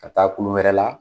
Ka taa kulu wɛrɛ la